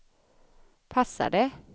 passade